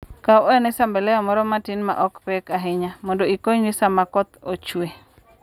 Kaw ane sambelo moro matin ma ok pek ahinya, mondo ikonyri sama koth ochue.